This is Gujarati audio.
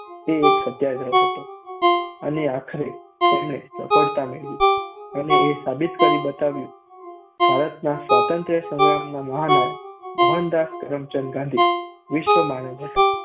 તે એક સત્યાગ્રહ હતો અને આખરે તેમણે સફળતા મેળવી અને એ સાબિત કરી બતાવ્યું. ભારતના સ્વાતંત્ર્ય સંગ્રામના મહાનાયક મોહનદાસ કરમચંદ ગાંધી વિશ્વ માનવ હતા.